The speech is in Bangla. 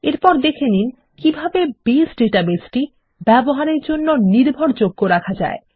এরপর দেখে নিন কিভাবে বেস ডাটাবেসটি ব্যবহারের জন্য নির্ভরযোগ্য রাখা যায়